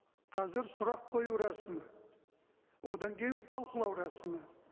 қазір сұрақ қою рәсімі одан кейін талқылау рәсімі